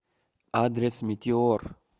адрес метеор